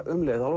um leið